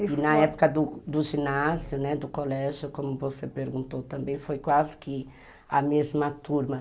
E na época do ginásio, do colégio, né, como você perguntou também, foi quase que a mesma turma.